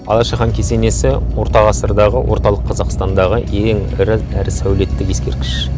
алаша хан кесенесі орта ғасырдағы орталық қазақстандағы ең ірі әрі сәулеттік ескерткіш